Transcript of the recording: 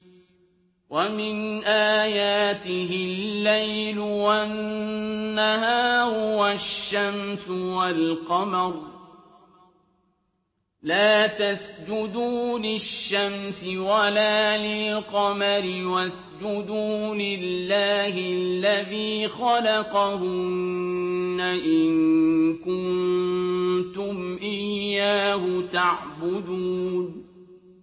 وَمِنْ آيَاتِهِ اللَّيْلُ وَالنَّهَارُ وَالشَّمْسُ وَالْقَمَرُ ۚ لَا تَسْجُدُوا لِلشَّمْسِ وَلَا لِلْقَمَرِ وَاسْجُدُوا لِلَّهِ الَّذِي خَلَقَهُنَّ إِن كُنتُمْ إِيَّاهُ تَعْبُدُونَ